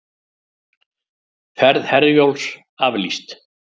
Ferð Herjólfs aflýst